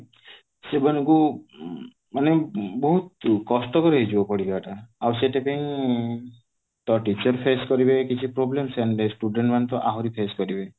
ସେମାନଙ୍କୁ ମାନେ ବହୁତ କଷ୍ଟକର ହେଇଯିବ ପଢିବା ଟା ଆଉ ସେଥିପାଇଁ ତ teacher face କରିବେ କିଛି problem ସେମିତି student ମାନେ ତ ଆହୁରି face କରିବେ